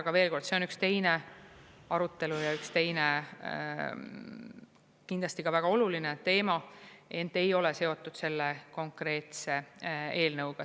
Aga veel kord: see on üks teine arutelu ja üks teine kindlasti ka väga oluline teema, ent ei ole seotud selle konkreetse eelnõuga.